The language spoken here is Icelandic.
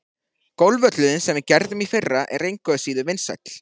Golfvöllurinn, sem við gerðum í fyrra, er engu síður vinsæll.